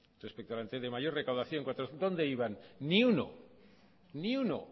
respecto al anterior de mayor recaudación dónde iban ni uno